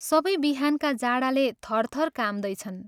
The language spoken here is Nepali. सबै बिहानका जाडाले थरथर काम्दैछन्।